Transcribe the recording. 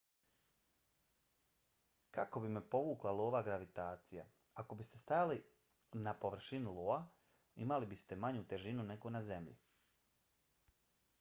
kako bi me povukla iova gravitacija? ako biste stajali na površini ioa imali biste manju težinu nego na zemlji